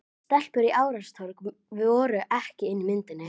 Stelpur í ástarsorg voru ekki inni í myndinni.